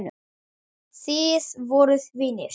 Þið voruð vinir.